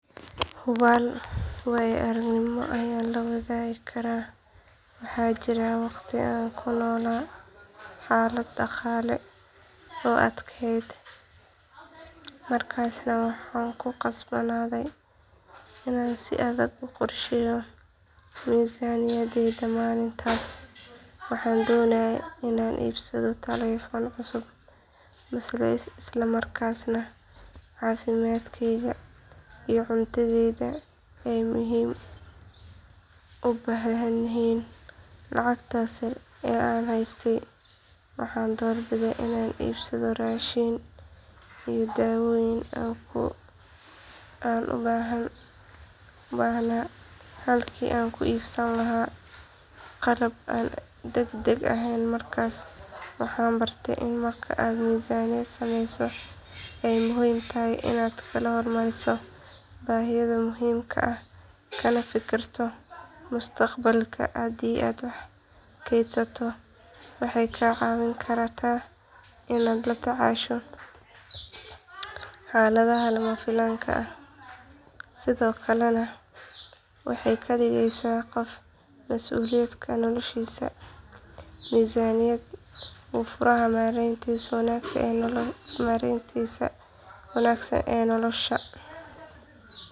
Hubaal waayoaragnimo ayaan la wadaagi karaa waxaa jiray waqti aan ku noolaa xaalad dhaqaale oo adkayd markaasna waxaan ku khasbanaaday inaan si adag u qorsheeyo miisaaniyaddayda maalintaas waxaan doonayay inaan iibsado telefoon cusub balse isla markaasna caafimaadkayga iyo cuntadaydu ay muhiim u baahnaayeen lacagtaas yar ee aan haystay waxaan doorbiday inaan iibsado raashin iyo dawooyinkii aan u baahnaa halkii aan ka iibsan lahaa qalab aan degdeg ahayn markaas waxaan bartay in marka aad miisaaniyad sameyso ay muhiim tahay inaad kala hormariso baahiyaha muhiimka ah kana fikirto mustaqbalka haddii aad wax kaydsato waxay kaa caawin kartaa inaad la tacaasho xaaladaha lama filaanka ah sidoo kalena waxay kaa dhigeysaa qof mas’uul ka ah noloshiisa miisaaniyaddu waa furaha maaraynta wanaagsan ee nolosha.